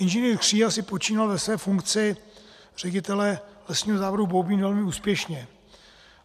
Inženýr Kříha si počínal ve své funkci ředitele Lesního závodu Boubín velmi úspěšně.